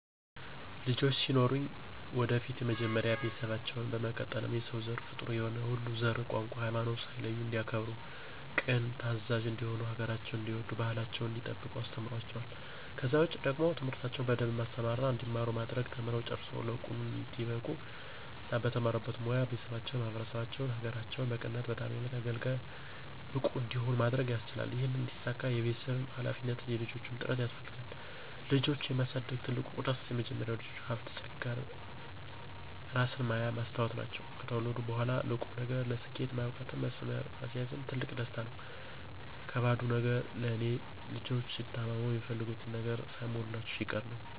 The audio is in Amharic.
ልጆች ሲኖሩኝ ወደፊት መጀመሪያ ቤተሰባቸውን፣ በመቀጠልም የሰው ዘር ፍጡር የሆነ ሁሉ ዘር፣ ቋንቋ፣ ሀይማኖት ሳይለዩ እንዲያከብሩ ቅን ታዛዥ እንዲሆኑ ሀገራቸውን እንዲወዱ ባህላቸውን እንዲጠብቁ አስተምራቸዋለሁ። ከዛ ውጪ ደግሞ ትምህርታቸውን በደንብ ማስተማርና እንዲማሩ ማድረግ ተምረው ጨርሰው ለቁም ነገር እንዲበቁ እና በተማሩበት ሞያ ቤተሰባቸውን፣ ማህበረሰባቸውን፣ ሀገራቸውን በቅንነትና በታማኝነት አገልጋይ፣ ብቁ እንዲሆኑ ማድረግ ማስቻል ይህም እንዲሳካ የቤተሰብም ሀላፊነት የልጆችም ጥረት ያስፈልጋል። ልጆችን የማሳደግ ትልቁ ደስ፦ መጀመሪያ ልጆች ሀብት ፀጋ እራስን ማያ መስታወት ናቸው። ከተወለዱ በኋላም ለቁም ነገር፣ ለስኬት ማብቃትም መስመር ማስያዝም ትልቁ ደስታ ነው። ከባዱ ነገር ለኔ፦ ልጆች ሲታመሙ፣ የሚፈልጉትን ነገር ሳይሟላላቸው ሲቀር ነው።